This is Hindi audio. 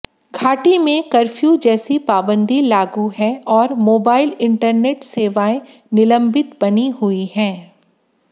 घाटी में कफ्र्यू जैसी पाबंदी लागू है और मोबाइल इंटरनेट सेवाएं निलंबित बनी हुई हैं